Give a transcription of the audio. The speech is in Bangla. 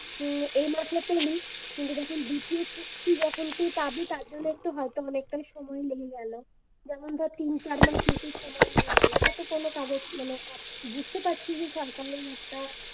হম এই মাসে পেলি কিন্তু যখন দ্বিতীয় কিস্তি যখন তুই পাবি তারজন্য একটু হয়তো অনেকটাই সময় লেগে গেলো যেমন ধর তিন চার মাস মতো সময় লেগে গেলো হয়তো কোনো কাগজ মানে বুঝতে পারছি যে সরকারের একটা